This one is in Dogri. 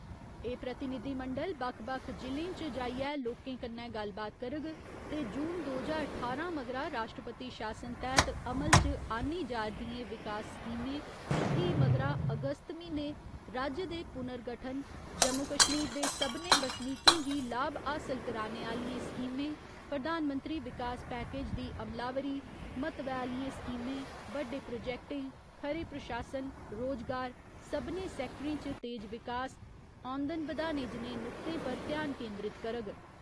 एह् प्रतिनिधिमंडल बक्ख बक्ख जि'लें च जाइयै लोकें कन्नै गल्लबात करग, ते जून दो ज्हार ठारां मगरा राश्ट्रपति शासन तैह्त अमल च आन्नी जा'रदियें विकास स्कीमें ते फ्ही मगरा अगस्त म्हीने राज्य दे पुर्नगठन जम्मू कश्मीर दे सभनें बसनीकें गी लाभ हासल कराने आह्‌लियें स्कीमें, प्रधानमंत्री विकास पैकेज दी अमलावरी, म्हत्वै आह्‌लियें स्कीमें, बड्डे प्रोजेक्टें, खरे प्रशासन, रोजगार, सभनें सैक्टरें च तेज विकास, औंदन बधाने जनेह नुक्तें पर ध्यान केन्द्रित करग।